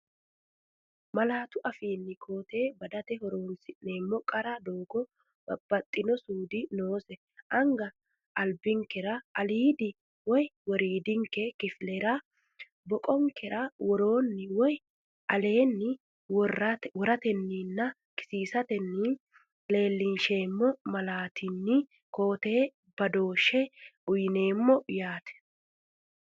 Malaatu afiinni koo-tee badate horoon- si’neemmoti qara doogo babbaxxino suudi noose anga albinkera aliidi woy woriidi kifilera(boqonkera woroonni woy aleenni) woratenninna kisiisatenni leellinsheemmo malaattanni koo-teete badooshshe uyineem- yaate.